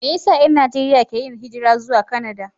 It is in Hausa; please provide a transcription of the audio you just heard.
Me yasa 'yan Najeriya ke yin hijira zuwa Kanada?